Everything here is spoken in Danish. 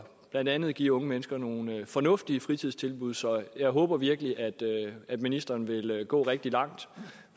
blandt andet at give unge mennesker nogle fornuftige fritidstilbud så jeg håber virkelig at at ministeren vil gå rigtig langt